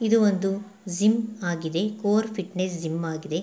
ಇದು ಒಂದು ಜಿಮ್ ಆಗಿದೆ ಕೋರ್ ಫಿಟ್ನೆಸ್ ಜಿಮ್ ಆಗಿದೆ.